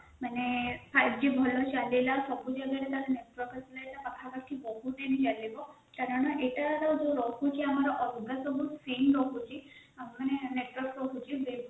ମାନେ five g ଭଳି ଚାଲିଲା ସବୁ ଯଦି ତାର ନେଟୱର୍କ ଆସିଲା ଏଇଟା ପାଖାପାଖି ବହୁତଦିନ ରହିବ କାରଣ ଏଟାର ଯାଉ ରହୁଛି ଅଲଗା ସବୁ ସିମ ରହୁଛି ମାନେ network ରହୁଛି